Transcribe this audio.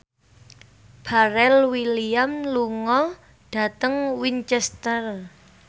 Pharrell Williams lunga dhateng Winchester